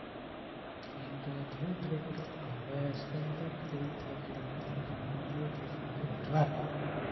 என்ற தமிழ் திரைப்படத்திற்காக சிறந்த கதை திரை கதை இயக்கத்திற்கான இந்திய தேசிய விருது பெற்றவர்